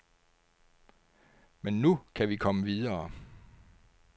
Men nu kan vi komme videre.